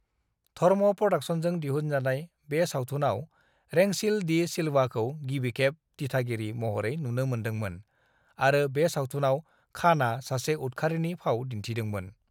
धर्म प्र'डाक्शन्सजों दिहुनजानाय बे सावथुनाव रेंसिल डी सिल्वाखौ गिबिखेब दिथागिरि महरै नुनो मोनदोंमोन आरो बे सावथुनाव खानआ सासे उदखारिनि फाव दिन्थिदोंमोन।